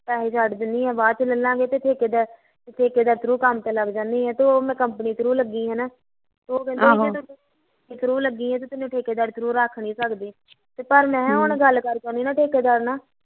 ਪੈਸੇ ਛੱਡ ਦਿੰਨੀ ਆ ਤੇ ਬਾਦ ਚ ਲੇਲਾਂਗਾ ਤੇ ਠੇਕੇਦਾਰ ਠੇਕੇਦਾਰ through ਕੰਮ ਤੇ ਲੱਗ ਜਾਨੀ ਆ ਤੇ ਉਹ ਮੈਂ company through ਲੱਗੀ ਸੀ ਨਾ ਉਹ ਕਹਿੰਦੇ ਜੇ ਤੂੰ company through ਲੱਗੀ ਸੀ ਤੇ ਹੁਣ ਠੇਕੇਦਾਰੀ through ਰੱਖ ਨੀ ਸਕਦੇ ਪਰ ਮੈਂ ਕਿਹਾਂ ਹੁਣ ਗੱਲ ਕਰਕੇ ਆਉਂਦੀ ਠੇਕੇ ਦਾਰ ਨਾਲ਼